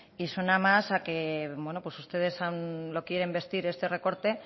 y suena más a que bueno pues ustedes lo quieren vestir este recorte